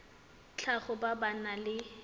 tlhago ba ba nang le